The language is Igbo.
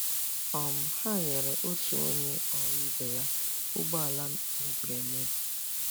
um Ha nyere otu onye ọrụ ibe ya ụgbọ ala mebiri emebi.